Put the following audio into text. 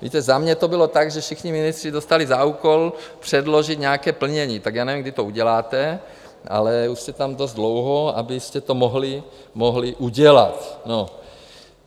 Víte, za mě to bylo tak, že všichni ministři dostali za úkol předložit nějaké plnění, tak já nevím, kdy to uděláte, ale už jste tam dost dlouho, abyste to mohli udělat.